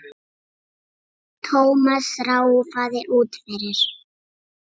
Thomas ráfaði út fyrir.